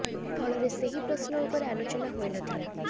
ଫଳରେ ସେହି ପ୍ରଶ୍ନ ଉପରେ ଆଲୋଚନା ହୋଇ ନ ଥିଲା